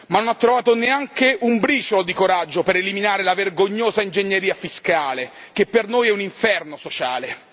Ma non ha trovato neanche un briciolo di coraggio per eliminare la vergognosa ingegneria fiscale che per noi è un inferno sociale.